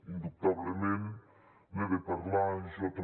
indubtablement n’he de parlar jo també